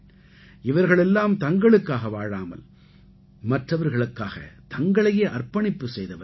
இவர்கள் எல்லாம் தங்களுக்காக வாழாமல் மற்றவர்களுக்காக தங்களையே அர்ப்பணிப்பு செய்தவர்கள்